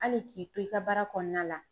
Hali k'i to i ka baara kɔnɔna la